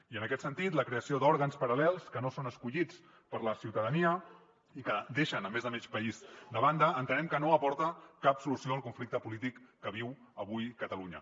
i en aquest sentit la creació d’òrgans paral·lels que no són escollits per la ciutadania i que deixen més de mig país de banda entenem que no aporta cap solució al conflicte polític que viu avui catalunya